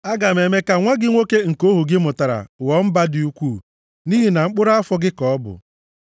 Aga m eme ka nwa gị nwoke nke ohu gị mụtara ghọọ mba dị ukwuu, nʼihi na mkpụrụ afọ gị ka ọ bụ.”